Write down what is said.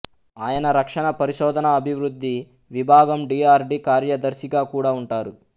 ఆయన రక్షణ పరిశోధనఅభివృద్ధి విభాగం డీఆర్డీ కార్యదర్శిగా కూడా ఉంటారు